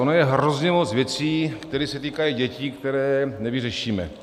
Ono je hrozně moc věcí, které se týkají dětí, které nevyřešíme.